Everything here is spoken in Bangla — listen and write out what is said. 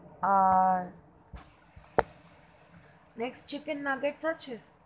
আর, next chicken naughts আছে?